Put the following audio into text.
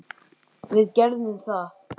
Við gerðum það.